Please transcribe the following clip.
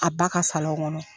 A ba ka [cs ] kɔnɔ.